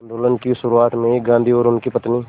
आंदोलन की शुरुआत में ही गांधी और उनकी पत्नी